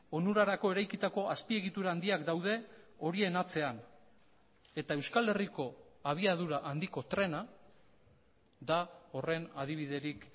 onurarako eraikitako azpiegitura handiak daude horien atzean eta euskal herriko abiadura handiko trena da horren adibiderik